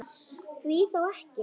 Því þá ekki?